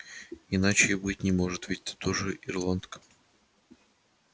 иначе и быть не может ведь ты тоже ирландка